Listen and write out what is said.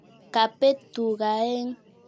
Kapeet tuga aeng'